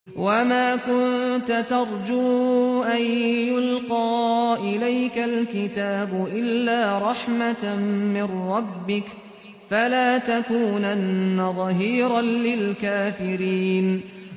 وَمَا كُنتَ تَرْجُو أَن يُلْقَىٰ إِلَيْكَ الْكِتَابُ إِلَّا رَحْمَةً مِّن رَّبِّكَ ۖ فَلَا تَكُونَنَّ ظَهِيرًا لِّلْكَافِرِينَ